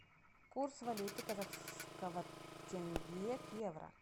курс валюты казахского тенге к евро